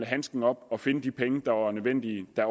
handsken op og finde de penge der var nødvendige da